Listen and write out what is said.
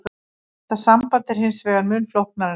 Þetta samband er hins vegar mun flóknara en svo.